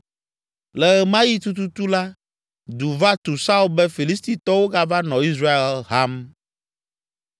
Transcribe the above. Le ɣe ma ɣi tututu la, du va tu Saul be Filistitɔwo gava nɔ Israel ham.